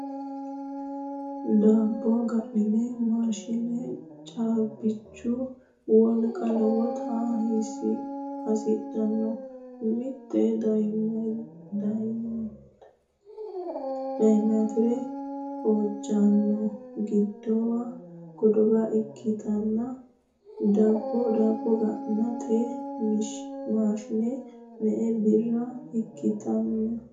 Dabbo gananni mashiine caabbichu wolqa lowota hasidhanno ? Mitte diyameetire hojjanna godowa ikkitanno daabbo gantanno mashiine me'e birra ikkitanno ?